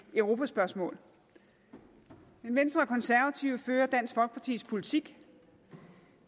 europaspørgsmål men venstre og konservative fører dansk folkepartis politik